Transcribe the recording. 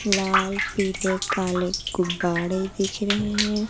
लाल पीले काले गुब्बारे दिख रहे हैं।